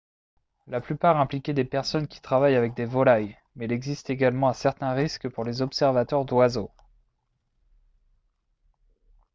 la plupart impliquaient des personnes qui travaillent avec des volailles mais il existe également un certain risque pour les observateurs d'oiseaux